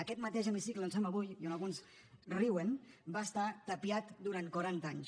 aquest mateix hemicicle on som avui i on alguns riuen va estar tapiat durant quaranta anys